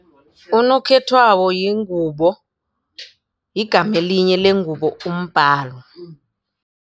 Unokhethwako yingubo yigamelinye lengubo umbalo.